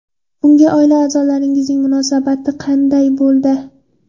Bunga oila a’zolaringizning munosabati qanday bo‘ldi?